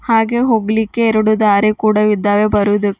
ಹಾಗೆ ಹೋಗಲಿಕ್ಕೆ ಎರಡು ದಾರಿ ಕೂಡ ಇದ್ದಾವೆ ಬರೋದ.